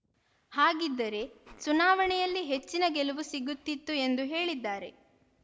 ಹಾಗಿದ್ದರೆ ಚುನಾವಣೆಯಲ್ಲಿ ಹೆಚ್ಚಿನ ಗೆಲುವು ಸಿಗುತ್ತಿತ್ತು ಎಂದು ಹೇಳಿದ್ದಾರೆ